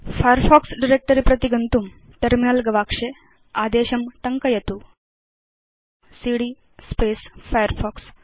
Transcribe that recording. terminal गवाक्षे अधस्तन आदेशं टङ्कयित्वा फायरफॉक्स डायरेक्ट्री प्रति गच्छतु सीडी फायरफॉक्स